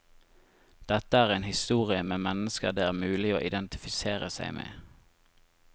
Dette er en historie med mennesker det er mulig å identifisere seg med.